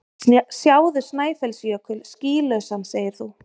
Sjáðu Snæfellsjökul skýlausan segir þú.